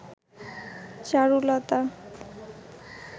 Charulata